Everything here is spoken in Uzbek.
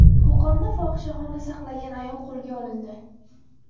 Qo‘qonda fohishaxona saqlagan ayol qo‘lga olindi.